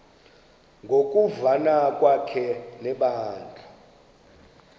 ngokuvana kwakhe nebandla